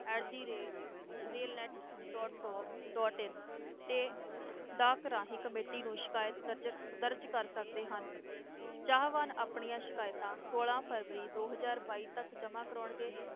At the rate rail net dot gov dot in ਤੇ ਡਾਕ ਰਾਹੀਂ committee ਨੂੰ ਸ਼ਿਕਾਇਤ ਦਰਜ਼ ਦਰਜ਼ ਕਰ ਸਕਦੇ ਹਨ, ਚਾਹਵਾਨ ਆਪਣੀਆਂ ਸ਼ਿਕਾਇਤਾਂ ਛੋਲਾਂ ਫਰਵਰੀ ਦੋ ਹਜ਼ਾਰ ਬਾਈ ਤੱਕ ਜਮਾ ਕਰਵਾਉਣਗੇ।